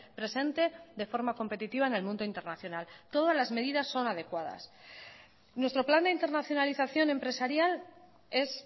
presente de forma competitiva en el mundo internacional todas las medidas son adecuadas nuestro plan de internacionalización empresarial es